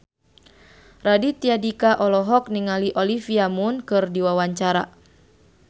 Raditya Dika olohok ningali Olivia Munn keur diwawancara